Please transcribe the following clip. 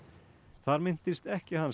þar minntist ekkja hans